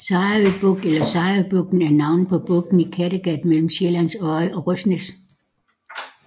Sejerø Bugt eller Sejerøbugten er navnet på bugten i Kattegat mellem Sjællands Odde og Røsnæs